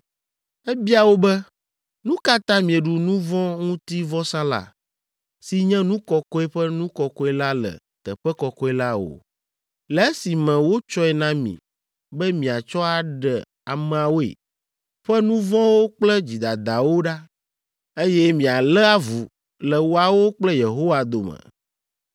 Ebia wo be, “Nu ka ta mieɖu nu vɔ̃ ŋuti vɔsa la, si nye nu kɔkɔe ƒe nu kɔkɔe la le teƒe kɔkɔe la o, le esime wotsɔe na mi be miatsɔ aɖe ameawo ƒe nu vɔ̃wo kple dzidadawo ɖa, eye mialé avu le woawo kple Yehowa dome?